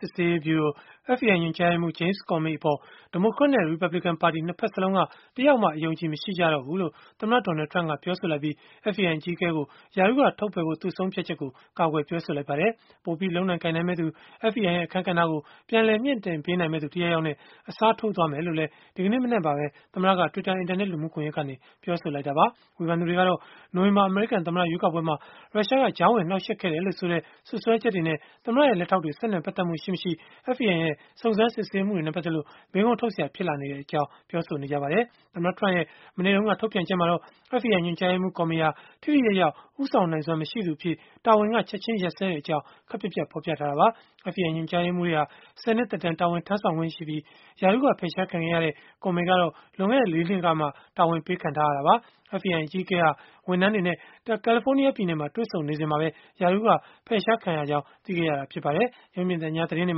စစ်ဆေးရေးဗျုရို (FBI) ညွှန်ကြားရေးမှူး James Comey အပေါ် ဒီမိုကရက်နဲ့ ရီပတ်ဘလစ်ကန်ပါတီ ၂ ဖက်စလုံးက တယောက်မှ အယုံအကြည် မရှိကြတော့ဘူးလို့ သမ္မတ Donald Trump က ပြောဆိုလိုက်ပြီး၊ FBI အကြီးအကဲကို ရာထူးက ထုတ်ပယ်ဖို့ ဆုံးဖြတ်ချက်ကို ကာကွယ်ပြောဆို လိုက်ပါတယ်။ ပိုပြီးလုပ်နိုင်ကိုင်နိုင်မယ့်သူ၊ FBI ရဲ့ အခန်းကဏ္ဍကို ပြန်လည်မြှင့်တင် ပေးနိုင်မယ့်သူ တယောက်ယောက်နဲ့ အစားထိုးသွားမယ်လို့လည်း ဒီကနေ့မနက်မှာပဲ သမ္မတက Twitter အင်တာနက် လူမှုကွန်ယက်ကနေ ပြောဆိုခဲ့တာပါ။ ဝေဖန်သူတွေကတော့ နိုဝင်ဘာ အမေရိကန် သမ္မတရွေးကောက်ပွဲမှာ ရုရှားက ကြားဝင်နှောက်ယှက်ခဲ့တယ်လို့ဆိုတဲ့ စွပ်စွဲချက်တွေနဲ့ သမ္မတရဲ့ လက်ထောက်တွေ ဆက်နွယ်ပတ်သက်မှု ရှိမရှိ FBI ရဲ့ စုံစမ်းစစ်ဆေးမှုတွေနဲ့ ပတ်သက်လို့ မေးခွန်းထုတ် စရာ ဖြစ်လာနေပြီလို့ ပြောဆိုနေကြ ပါတယ်။ သမ္မတ Trump ရဲ့ မနေ့တုန်းက ထုတ်ပြန်ချက်မှာတော့ FBI ညွှန်ကြားရေးမှူး Comey ဟာ ထိထိရောက်ရောက် ဦးဆောင်နိုင်စွမ်း မရှိသူအဖြစ် တာဝန်က ချက်ခြင်းရပ်စဲကြောင်း ခပ်ပြတ်ပြတ် ဖော်ပြထားတာပါ။ FBI ညွှန်ကြားရေးမှူးတွေဟာ ၁၀ နှစ် သက်တမ်း တာဝန်ထမ်းဆောင်ခွင့်ရှိပြီး၊ ရာထူးက ဖယ်ရှားခံခဲ့ရတဲ့ Comey ကတော့ လွန်ခဲ့တဲ့ ၄ နှစ်ကမှ တာဝန်ပေးခံထားရတာပါ။ FBI အကြီးအကဲဟာ ဝန်ထမ်းတွေနဲ့ ကယ်လီဖိုးနီးယားပြည်နယ်မှာ တွေ့ဆုံနေစဉ်မှာပဲ ရာထူးက ဖယ်ရှားခံရကြောင်း သိခဲ့ရတာ ဖြစ်ပါတယ်။ ရုပ်မြင်သံကြား သတင်းတွေ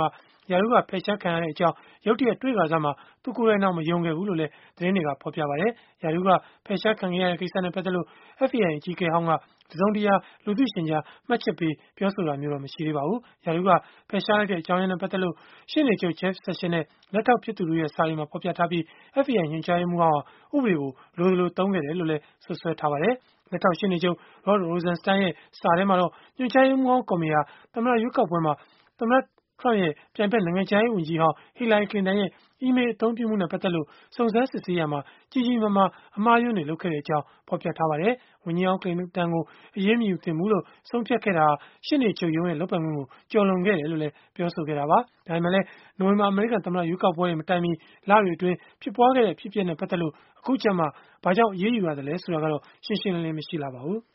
မှာ ရာထူးက ဖယ်ရှားခံရကြောင်း ရုတ်တရက် တွေ့ကာစမှာ သူကိုယ်တိုင်တောင် မယုံခဲ့ဖူးလို့လည်း သတင်းတွေက ဖော်ပြပါတယ်။ ရာထူးက ဖယ်ရှားခံခဲ့ရတဲ့ ကိစ္စနဲ့ ပတ်သက်လို့ FBI အကြီးအကဲဟောင်းက တစုံတရာ လူသိရှင်ကြား မှတ်ချက်ပေး ပြောဆိုတာတော့ မရှိသေးပါဘူး။ ရာထူးက ဖယ်ရှားလိုက်တဲ့ အကြောင်းရင်းနဲ့ ပတ်သက်လို့တော့ ရှေ့နေချုပ် Jeff Sessions နဲ့ လက်ထောက်ဖြစ်သူတို့ရဲ့ စာတွေမှာ ဖော်ပြထားပြီး၊ FBI ညွှန်ကြားရေးမှူးဟောင်းဟာ ဥပဒေကို လိုသလို သုံးခဲ့တယ်လို့ စွပ်စွဲထားပါတယ်။ လက်ထောက် ရှေ့နေချုပ် Rod Rosenstein ရဲ့ စာထဲမှာတော့ ညွှန်ကြားရေးမှူးဟောင်း Comey ဟာ သမ္မတရွေးကောက်ပွဲမှာ သမ္မတ Trump ရဲ့ ပြိုင်ဘက် နိုင်ငံခြားရေး ဝန်ကြီးဟောင်း Hillary Clinton ရဲ့ အီးမေးလ်အသုံးပြုမှုနဲ့ ပတ်သက်လို့ စုံစမ်းစစ်ဆေးရာမှာ ကြီးကြီးမားမား အမှားအယွင်းတွေ လုပ်ခဲ့တဲ့အကြောင်း ဖော်ပြထားပါတယ်။ ဝန်ကြီးဟောင်း ကလင်တန် ကို အရေးမယူသင့်ဖူးလို့ ဆုံးဖြတ်ခဲ့တာဟာ ရှေ့နေချုပ်ရုံးရဲ့ လုပ်ပိုင်ခွင့်ကို ကျော်လွန်ခဲ့တယ်လို့လည်း ပြောဆိုခဲ့တာပါ။ ဒါပေမဲ့လည်း နိုဝင်ဘာ အမေရိကန်သမ္မတ ရွေးကောက်ပွဲတွေ မတိုင်မီလတွေမှာ ဖြစ်ခဲ့တဲ့ အဖြစ်အပျက်တွေနဲ့ ပတ်သက်လို့ အခုကျမှ ဘာကြောင့် အရေးယူရသလဲ ဆိုတာကတော့ ရှင်းရှင်းလင်းလင်း မရှိပါဘူး။